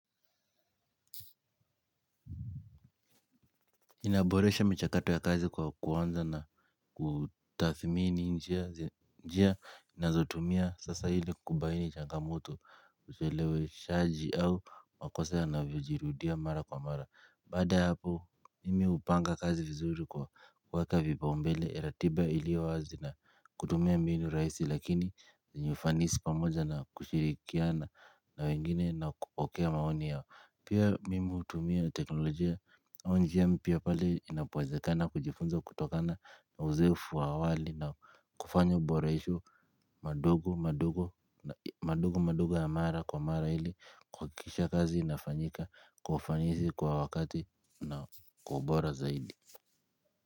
Inaboresha michakato ya kazi kwa kuanza na kutathmini njia njia inazotumia sasa ili kubaini changamoto ucheleweshaji au makosa yanavyojirudia mara kwa mara baada hapo. Mimi hupanga kazi vizuri kwa kuweka vipao mbele ratiba iliyo wazi na kutumia mbinu rahisi lakini zenye ufanisi pamoja na kushirikiana na wengine na kupokea maoni yao. Pia mimi hutumia tekinolojia. Mimi upanga kazi vizuri kwa kwa waka vipa umbele elatiba ili wazi na kutumia mbini raisi lakini zinyufanisi pamoja na kushirikia na wengine na kukokea maoni yao pia mimutumia teknolojia kufanya uboresho madogo madogo ya mara kwa mara hili kuhakisha kazi inafanyika kwa ufanisi kwa wakati na kwa ubora zaidi.